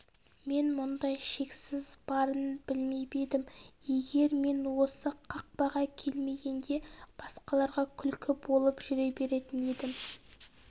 мен мұндай шексіздік барын білмеп едім егер мен осы қақпаға келмегенде басқаларға күлкі болып жүре беретін едім